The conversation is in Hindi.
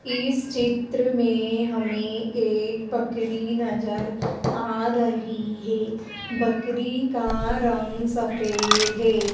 इस चित्र में हमें एक बकरी नजर आ रही है बकरी का रंग सफेद है।